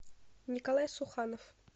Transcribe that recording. николай суханов